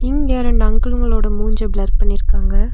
இங்க இரண்டு அங்கிள்களோட மூஞ்ச பிளர் பண்ணிருக்காங்க.